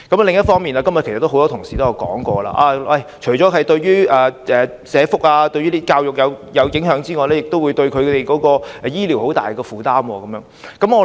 另一方面，今天也有很多同事提到，除了對社福和教育構成影響外，新移民亦對醫療服務造成很大負擔。